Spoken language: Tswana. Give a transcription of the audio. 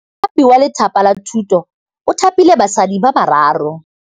Mothapi wa Lefapha la Thutô o thapile basadi ba ba raro.